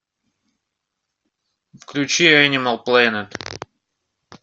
включи энимал плэнет